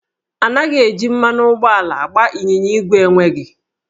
Anaghị eji mmanụ ụgbọala agba ịnyịnya ígwè enweghị